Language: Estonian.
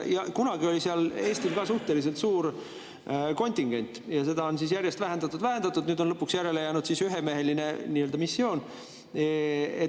Kunagi oli seal Eestil suhteliselt suur kontingent ja seda on järjest vähendatud-vähendatud, nüüd on lõpuks järele jäänud ühemeheline missioon.